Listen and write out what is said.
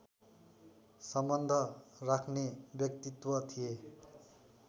सम्बन्ध राख्ने व्यक्तित्त्व थिए